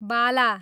बाला